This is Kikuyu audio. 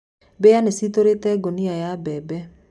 Mbĩa nĩcitũrĩte ngũnia ya mbembe.